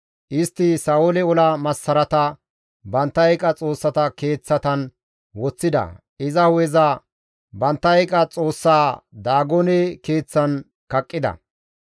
Istti Sa7oole ola massarata bantta eeqa xoossata keeththatan woththida; iza hu7eza bantta eeqa xoossaa Daagone Keeththan kaqqida.